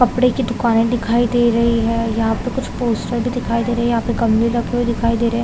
कपड़े के दुकाने दिखाई दे रही है यहाँ पे पोस्टर दिखाई दे रही है यहाँ पे गमले रखे हुए दिखाई दे रहे है।